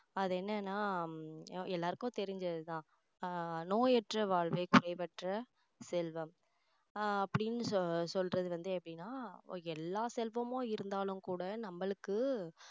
அது என்னன்னா எல்லாருக்கும் தெரிஞ்சது தான் ஆஹ் நோயற்ற வாழ்வே குறைவற்ற செல்வம் ஆஹ் அப்படின்னு சொ~ சொல்றது வந்து அப்படின்னா எல்லா செல்வமும் இருந்தாலும் கூட நம்மளுக்கு